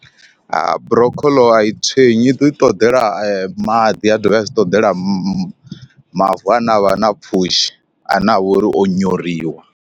Ha broccoḽo a i tswenyi i ḓi ṱoḓela maḓi a dovha a dzi ṱoḓela ma mavu ane avha na pfhushi ane avha uri o nyoriwa.